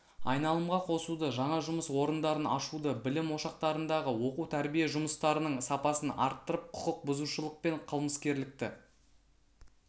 айналымға қосуды жаңа жұмыс орындарын ашуды білім ошақтарындағы оқу-тәрбие жұмыстарының сапасын арттырып құқықбұзушылық пен қылмыскерлікті